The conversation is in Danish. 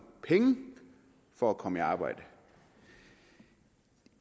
penge for at komme i arbejde